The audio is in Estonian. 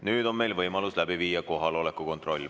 Nüüd on meil võimalus läbi viia kohaloleku kontroll.